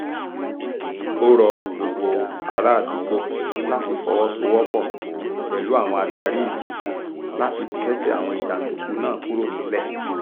ó rọ gbogbo àràádúgbò láti fọwọ́sowọ́pọ̀ pẹ̀lú àwọn adarí ìlú láti kẹ́sẹ̀ àwọn jàǹdùkú náà kúrò nílẹ̀